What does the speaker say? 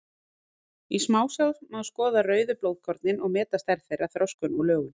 Í smásjá má skoða rauðu blóðkornin og meta stærð þeirra, þroskun og lögun.